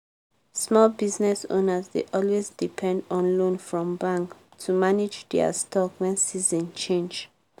small business owners dey always depend on loan from bank to manage dia stock when season change.